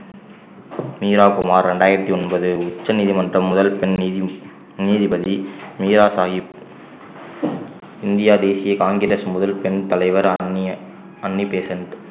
மீரா குமார் ரெண்டாயிரத்தி ஒன்பது உச்சநீதிமன்றம் முதல் பெண் நீதி~ நீதிபதி மீரா சாகிப் இந்தியா தேசிய காங்கிரஸ் முதல் பெண் தலைவர் அன்னி~ அன்னி பெசண்ட்